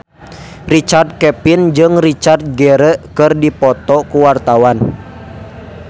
Richard Kevin jeung Richard Gere keur dipoto ku wartawan